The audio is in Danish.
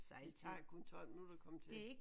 Det tager kun 12 minutter at komme til